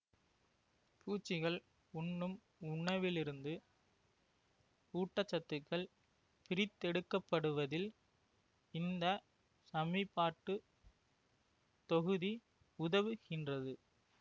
பூச்சிகள் உண்ணும் உணவிலிருந்து ஊட்ட சத்துக்கள் பிரித்தெடுக்கப்படுவதில் இந்த சமிபாட்டுத் தொகுதி உதவுகின்றது